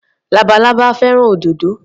Labalábá fẹ́ràn òdòdó.